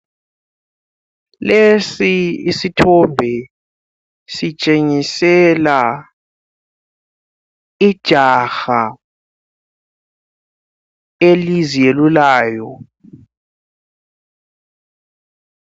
Lesi isithombe sitshengisela ijaha eliziyelulayo.